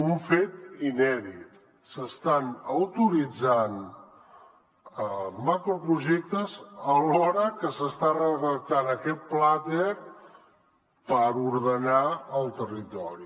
un fet inèdit s’estan autoritzant macroprojectes alhora que s’està redactant aquest plater per ordenar el territori